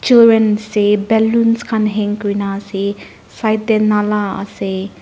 Children's day balloon khan hang kurena ase side dae nala ase.